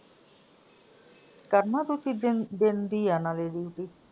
ਕਰਨਾ ਤੁਸੀਂ ਦਿਨ ਦਿਨ ਦੀ ਆ ਨਾਲੇ duty?